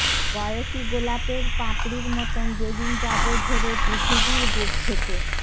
বয়সী গোলাপের পাপড়ির মত যেদিন যাবো ঝরে পৃথিবীর বুক থেকে